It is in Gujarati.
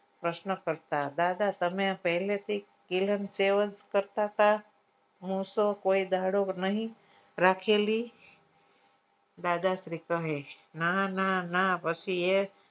પ્રશ્ન કરતા દાદા તમે આ પહેલેથી કરતાતા હું શું કોઈ દાડો નહી રાખેલી દાદાશ્રી કહે નાનાના પછી એ